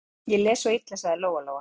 Ég les svo illa, sagði Lóa Lóa.